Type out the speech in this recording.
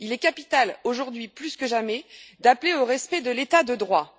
Il est capital, aujourd'hui plus que jamais, d'appeler au respect de l'état de droit.